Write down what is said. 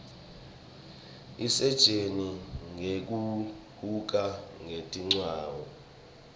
isitjen nqeku huka kwetindzawo